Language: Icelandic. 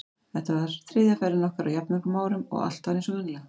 Þetta var þriðja ferðin okkar á jafn mörgum árum og allt var eins og venjulega.